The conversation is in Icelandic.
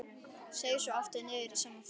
Seig svo aftur niður í sama farið.